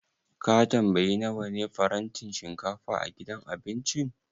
Ka tambayi nawa ne farantin shinkafa a gidan abincin?